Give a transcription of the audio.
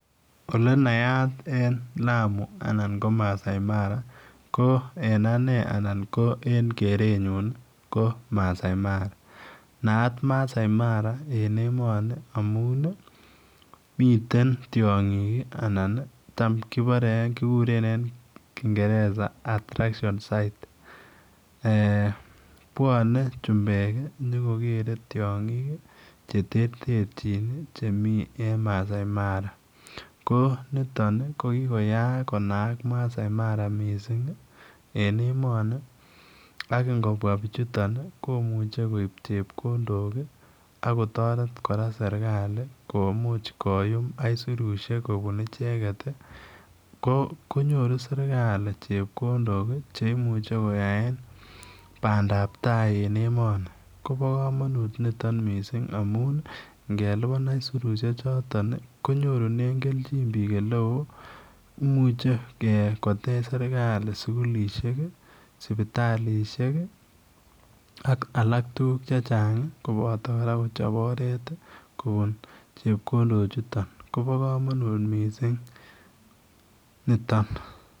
Ole nayat en Lamu anan ko Maasai Mara ke en ane anan ko kerenyun ko Maasai Mara, naat Maasai Mara en emoni amun miten tiong'k anan tam kiborei kikuren en kingereza attraction site. Puone chumbek nyokogerei tiong'ik cheterterchin chemi en Maasai Mara ko nitok ko kokoyaak konaak Maasai Mara mising en emoni ako ngopua pichuto komuchei koip chepkondok akotoret kora serikali komuch koyum kaisurishek kopun icheget konyoru serikali chepkondok cheimuche koyaen pandaptai en emoni kopo komonut mising niton amun ngelipan aisurishe choton konyorune kelchin piik oleo imuchei kotech serikali sukulishek sipitalishek ak alak tuguuk chechang koboto akot kochop oret kopun chepkondok chuto kopo komonut mising niton.